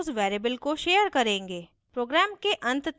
share objects उस variable को share करेंगे